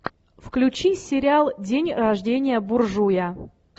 включи сериал день рождения буржуя